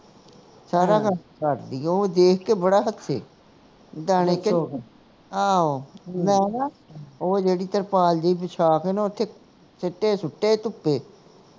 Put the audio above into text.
ਸਾਰਾ ਕੁਸ਼ ਕਰਦੀ ਆ ਉਹ ਦੇਖ ਕੇ ਬੜਾ ਹੱਸੇ ਦਾਣੇ ਚੁਗ ਮੈਂ ਕਿਹਾ ਉਹ ਜਿਹੜੀ ਤਰਪਾਲ ਜਿਹੀ ਵਸ਼ਾ ਕੇ ਨਾ ਓਥੇ ਸਿੱਟੇ ਸੁੱਟੇ ਧੁੱਪੇ